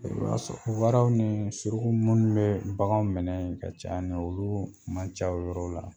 I b'a sɔrɔ waraw ni suruku munnu bɛɛ baganw minɛ ka caya ni oluu man ca o yɔrɔw la.